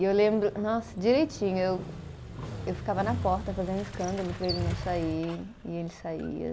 E eu lembro, nossa, direitinho eu, eu ficava na porta fazendo escândalo para ele não sair, e ele saía.